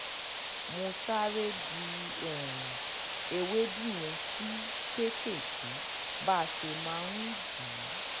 mo sáré di um ewéèdú yẹn sí kéékèèké bá a ṣe máa ń um dì í